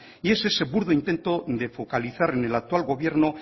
y es ese burdo intento de focalizar en el actual gobierno